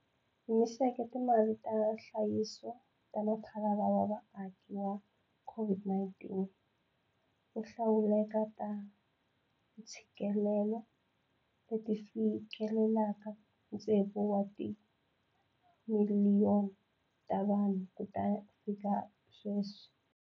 Hi simeke Timali ta Nhlayiso ta Mphalalo wa Vaaki wa, COVID-19, wo Hlawuleka ta Ntshikelelo, leti ti fikeleleke ntsevu wa timiliyoni ta vanhu kutafika sweswi.